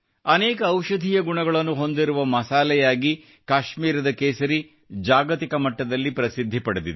ಅನೇಕ ಔಷಧೀಯ ಗುಣಗಳನ್ನು ಹೊಂದಿರುವ ಮಸಾಲೆಯಾಗಿ ಕಾಶ್ಮೀರದ ಕೇಸರಿ ಜಾಗತಿಕ ಮಟ್ಟದಲ್ಲಿ ಪ್ರಸಿದ್ಧಿಯನ್ನು ಪಡೆದಿದೆ